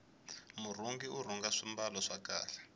murhungi urhunga swimbalo swa kahle